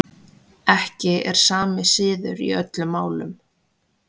Ekki er sami siður í öllum málum.